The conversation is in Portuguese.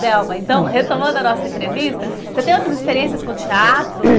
Delma, então, retomando a nossa entrevista, você tem outras experiências com teatro hum?